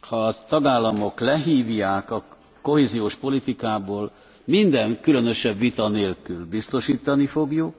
ha a tagállamok lehívják a kohéziós politikából, minden különösebb vita nélkül biztosítani fogjuk.